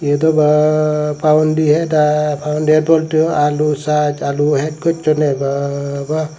edoba pawondi het aai powondi het bolte alu sas alu het gossundey ba ba.